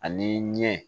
Ani ɲɛ